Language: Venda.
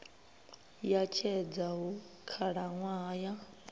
ya tshedza hu khalaṅwaha ya